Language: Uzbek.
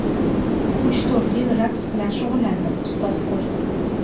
Uch-to‘rt yil raqs bilan shug‘ullandim, ustoz ko‘rdim.